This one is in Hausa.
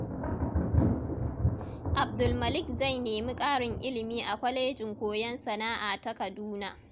Abdulmalik zai nemi karin ilimi a Kwalejin Koyon Sana’a ta Kaduna.